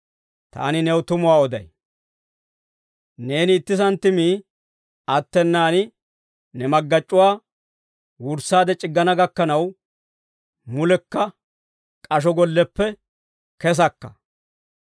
Taani new tumuwaa oday; neeni itti santtimii attenaan, ne maggac'c'uwaa wurssaade c'iggana gakkanaw, mulekka k'asho golleppe kesakka.